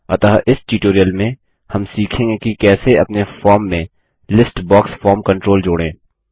अतः इस ट्यूटोरियल में हम सीखेंगे कि कैसे अपने फॉर्म में लिस्ट बॉक्स फॉर्म कंट्रोल जोड़ें